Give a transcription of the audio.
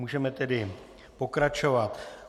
Můžeme tedy pokračovat.